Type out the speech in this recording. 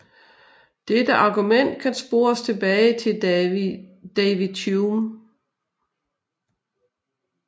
Dette argument kan spores tilbage til David Hume